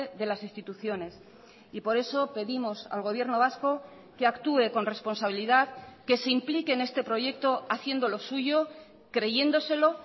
de las instituciones y por eso pedimos al gobierno vasco que actúe con responsabilidad que se implique en este proyecto haciéndolo suyo creyéndoselo